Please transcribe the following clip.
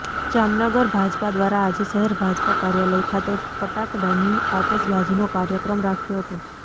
જામનગર ભાજપા દ્વારા આજે શહેર ભાજપ કાર્યાલય ખાતે ફટાકડાની આતશબાજીનો કાર્યક્રમ રાખ્યો હતો